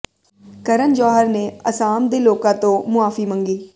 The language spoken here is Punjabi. ਕਰਨ ਜੌਹਰ ਨੇ ਅਸਾਮ ਦੇ ਲੋਕਾਂ ਤੋਂ ਮੁਆਫ਼ੀ ਮੰਗੀ